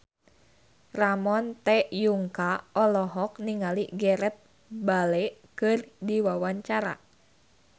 Ramon T. Yungka olohok ningali Gareth Bale keur diwawancara